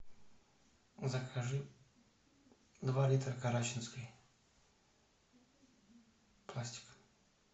закажи два литра карачинской пластик